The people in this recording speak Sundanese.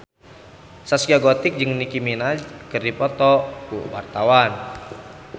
Zaskia Gotik jeung Nicky Minaj keur dipoto ku wartawan